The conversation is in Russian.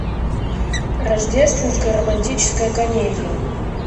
рождественская романтическая комедия